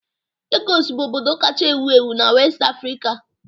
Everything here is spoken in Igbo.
Lagos bụ obodo kacha ewu ewu na West Africa